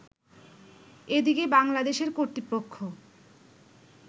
এদিকে বাংলাদেশের কর্তৃপক্ষ